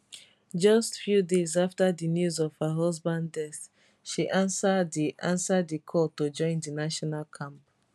just few days afta di news of her husband death she ansa di ansa di call to join di national camp